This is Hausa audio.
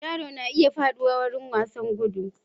Yaro na iya faɗuwa lokacin wasan gudu.